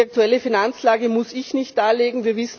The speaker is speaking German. Die aktuelle Finanzlage muss ich nicht darlegen